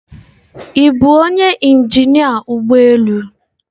Ị bụ onye injinia ụgbọ elu?